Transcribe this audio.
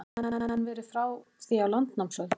Gæti hann verið frá því á landnámsöld?